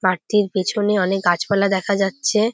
মাঠটির পেছনে অনেক গাছপালা দেখা যাচ্ছে।